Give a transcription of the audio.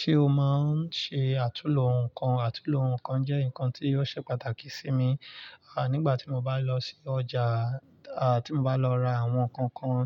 Ṣé o máa ń ṣe àtúnlo nǹkan? Àtúnlo nǹkan jẹ́ nǹkan tí ó ṣe pàtàkì sí mi, à nígbà tí mo bá lọ sí ọjà, à tí mo bá lọ ra àwọn nǹkan kan,